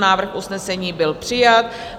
Návrh usnesení byl přijat.